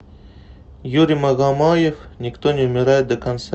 юрий магомаев никто не умирает до конца